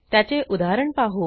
त्याचे उदाहरण पाहू